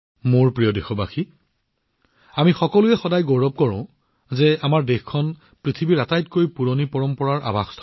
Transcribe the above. মোৰ মৰমৰ দেশবাসীসকল আমি সকলোৱে সদায় গৌৰৱ কৰোঁ যে আমাৰ দেশখন বিশ্বৰ আটাইতকৈ প্ৰাচীন পৰম্পৰাৰ আলয়